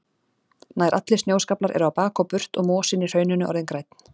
Nær allir snjóskaflar eru á bak og burt og mosinn í hrauninu orðinn grænn.